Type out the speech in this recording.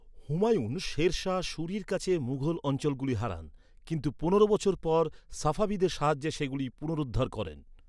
হুমায়ুন, শের শাহ সূরির কাছে মুঘল অঞ্চলগুলি হারান। কিন্তু পনেরো বছর পর সাফাভিদের সাহায্যে সেগুলি পুনরুদ্ধার করেন।